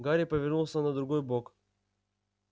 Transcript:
гарри повернулся на другой бок